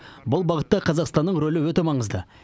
бұл бағытта қазақстанның рөлі өте маңызды